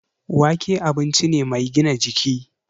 Wake abinci ne mai gina jiki